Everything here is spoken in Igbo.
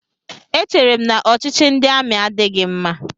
Echeere m na ọchịchị ndị amị adịghị mma.